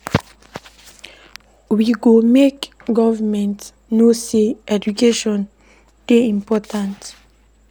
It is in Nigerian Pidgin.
We go make government know sey education dey important to us.